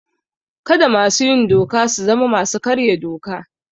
Kada masu yin doka su zama masu karya doka.